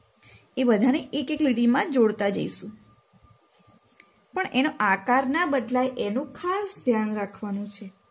એ બધાને એક એક લીટીમાં જોડતા જઈશું પણ એનો આકાર ના બદલાય એનું ખાસ ધ્યાન રાખવાનું છે.